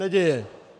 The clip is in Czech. Neděje.